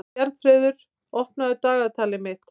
Bjarnfreður, opnaðu dagatalið mitt.